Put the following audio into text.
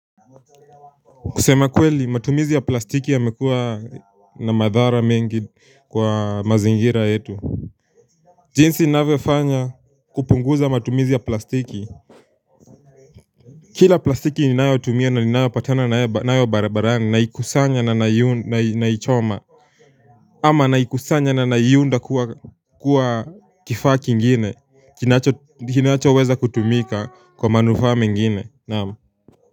Kusema kweli matumizi ya plastiki yamekuwa na madhara mengi kwa mazingira yetu jinsi ninavyofanya kupunguza matumizi ya plastiki Kila plastiki ninayotumia na ninayopatana nayo barabarani naikusanya na naichoma ama naikusanya na naiunda kuwa kifaa kingine kinachoweza kutumika kwa manufaa mengine naam.